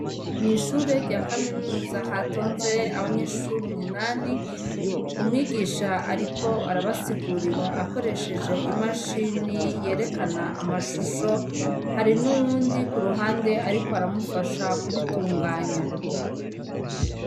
Mw'ishure rya kaminuza hatonze abanyeshuri munani. umwigish ariko arabasigurira akoresheje imashini yerekana amashusho, hari n'uwundi ku ruhande, ariko aramufasha kubitunganya.